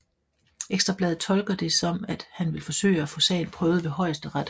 Ekstra Bladet tolker det som at han vil forsøge at få sagen prøvet ved Højesteret